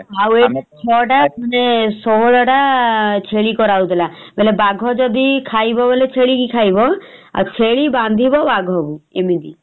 ଆଉ ଛଅ ଟା ଖଣ୍ଡେ ଷୋହଳ ଟା ଛେଳି କରା ହଉଥିଲା ବୋଲେ ବାଘ ଯଦି ଖାଇବ ଆଉ ଛେଳି ବାନ୍ଧିବ ବାଘକୁ ଇମିତି ।